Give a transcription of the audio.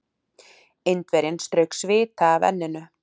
Indverjinn strauk svita af enninu.